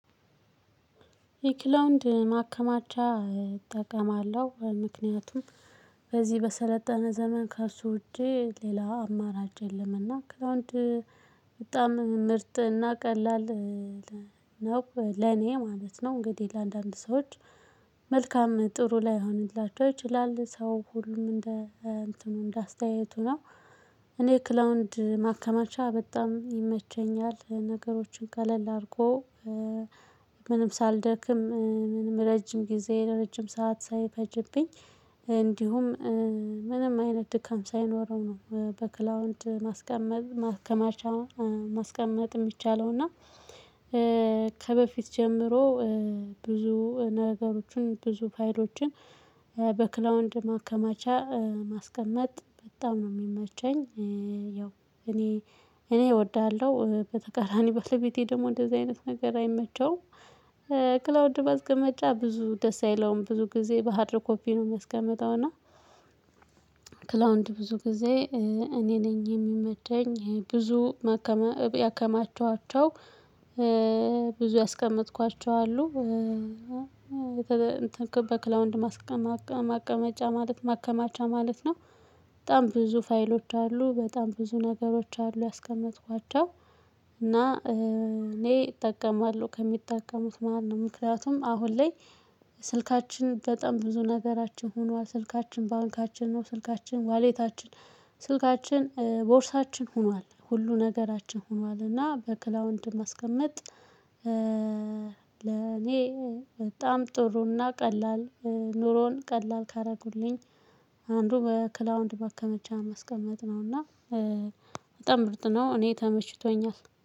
የክላውንድ ማከማቻ እጠቀማለሁ ምክንያቱም በዚህ በሰለጠነ ዘመን ከእሱ ውጪ ሌላ አማራጭ የለም። እና ክላውንድ በጣም ምርጥ እና ቀላል ነው ለኔ ማለት ነው። እንግዲህ ለአንዳንድ ሰዎች መልካም ጥሩ ላይሆንላችሁ ይችላል ሰው ሁሉም እንደ እንትኑ እንደ አስተያየቱ ነው። እኔ ክላውድ ማከማቻ በጣም ይመቸኛል ነገሮችን ቀለል አድርጎ። ምንም ሳልደክም ምንም ረጅም ጊዜ ረጅም ሰዓት ሳይፈጅብኝ። እንዲሁም ምንም አይነት ድካም ሳይኖረው ነው። በክላውንድ ማስቀመጥ ማከማቻ። ማስቀመጥ የሚቻለው እና ከበፊት ጀምሮ ብዙ ነገሮችን ብዙ ፋይሎችን በክላውድ ማከማቻ ማስቀመጥ በጣም ነው የሚመቸኝ። ያው እኔ እኔ እወድሃለሁ በተቃራኒ ባለቤቴ ደግሞ እንደዚህ አይነት ነገር አይመቸውም። ማስቀመጫ ብዙ ደስ አይለውም ብዙ ጊዜ በሃርድ ኮፒ ነው የሚያስቀመጠው እና። ክላውንድ ብዙ ጊዜ እኔ ነኝ የሚመቸኝ ብዙ ማከማ ያከማቸኋቸው። ብዙ ያስቀመጥኳቸው አሉ ብዙ። ያስቀመጥኳቸው አሉ በክላውንድ ማስቀመጫ ማቀ ማቀመጫ ማለት ማከማቻ ማለት ነው። በጣም ብዙ ፋይሎች አሉ በጣም ብዙ ነገሮች አሉ ያስቀመጥኳቸው እና። እኔ እጠቀማለሁ ከሚጠቀሙት መሃል ነው። አሁን ላይ ስልካችን በጣም ብዙ ነገራችን ሆኗል ስልካችን ባንካችን ነው ስልካችን ዋሌታችን ስልካችን ቦርሳችን ሆኗል ሁሉ ነገራችን ሆኗል። እና በክላውንድ ማስቀመጥ ለኔ በጣም ጥሩና ቀላል ኑሮን ቀላል ካደረጉልኝ አንዱ በክላውንድ ማከመቻ ማስቀመጥ ነውና። በጣም ምርጥ ነው እኔ ተመችቶኛል